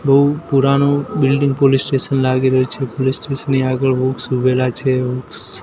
પૂ_પૂરાનુ building police station લાગી રહ્યુ છે પોલીસ સ્ટેશન ની આગળ વૃક્ષ ઉઘેલા છે.